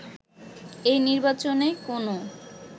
এই নির্বাচনে কোনো